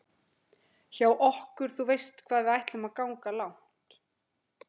hjá okkur þú veist hvað ætlum við að ganga langt